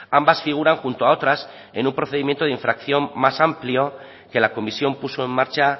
ambas figuran junto a otras en un procedimiento de infracción más amplio que la comisión puso en marcha